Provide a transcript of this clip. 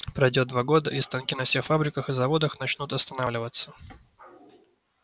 пройдёт два года и станки на всех фабриках и заводах начнут останавливаться